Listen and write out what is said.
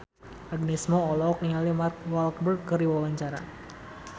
Agnes Mo olohok ningali Mark Walberg keur diwawancara